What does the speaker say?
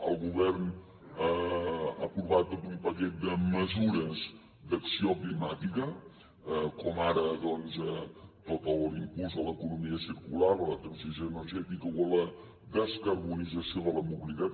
el govern ha aprovat tot un paquet de mesures d’acció climàtica com ara doncs tot l’impuls a l’economia circular a la transició energètica o a la descarbonització de la mobilitat